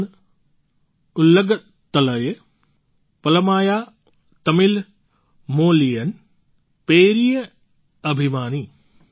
નાન ઉલગતલયે પલમાયાં તમિલ મોલિયન પેરિયે અભિમાની